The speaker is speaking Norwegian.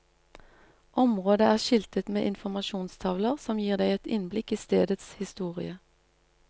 Området er skiltet med informasjonstavler som gir deg et innblikk i stedets historie.